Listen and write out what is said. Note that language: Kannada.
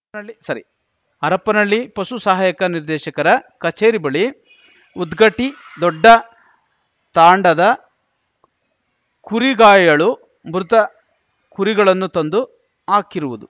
ನಳ್ಳಿ ಸಾರಿ ಹರಪನಹಳ್ಳಿ ಪಶು ಸಹಾಯಕ ನಿರ್ದೇಶಕರ ಕಚೇರಿ ಬಳಿ ಉದ್ಗಟ್ಟಿದೊಡ್ಡ ತಾಂಡದ ಕುರಿಗಾಯಿಗಳು ಮೃತ ಕುರಿಗಳನ್ನು ತಂದು ಹಾಕಿರುವುದು